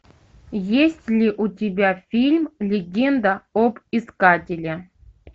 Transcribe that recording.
есть ли у тебя фильм легенда об искателе